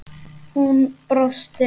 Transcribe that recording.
Hún brosti.